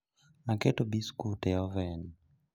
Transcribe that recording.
Aketo biskut e oven